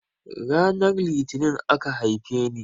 Ranar litini aka haifeni